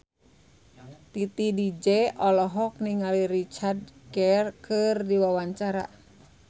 Titi DJ olohok ningali Richard Gere keur diwawancara